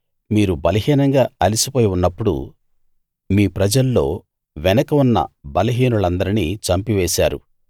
మీరు బలహీనంగా అలసిపోయి ఉన్నప్పుడు మీ ప్రజల్లో వెనక ఉన్న బలహీనులందరినీ చంపివేశారు